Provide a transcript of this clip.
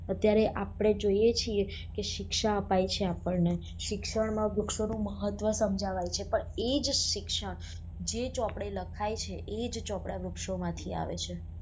અત્યારે આપડે જોઈએ છીએ કે શિક્ષા અપાઈ છે આપણને શિક્ષણ મા વૃક્ષો નું મહત્વ સમજાવાય છે પણ એ જ શિક્ષણ જે ચોપડે લખાઈ છે એ ચોપડા વૃક્ષો માંથી આવે છે